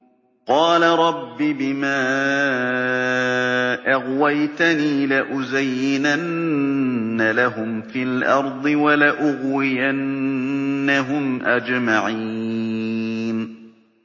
قَالَ رَبِّ بِمَا أَغْوَيْتَنِي لَأُزَيِّنَنَّ لَهُمْ فِي الْأَرْضِ وَلَأُغْوِيَنَّهُمْ أَجْمَعِينَ